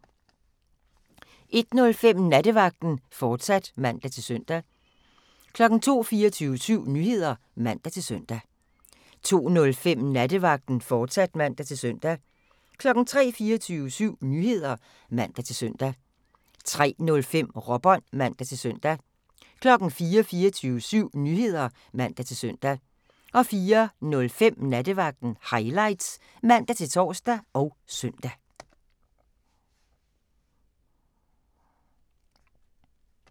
01:05: Nattevagten, fortsat (man-søn) 02:00: 24syv Nyheder (man-søn) 02:05: Nattevagten, fortsat (man-søn) 03:00: 24syv Nyheder (man-søn) 03:05: Råbånd (man-søn) 04:00: 24syv Nyheder (man-søn) 04:05: Nattevagten Highlights (man-tor og søn)